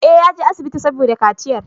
Eh, yaje asibitin saboda kaciyar